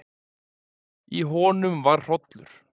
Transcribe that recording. Í honum var hrollur.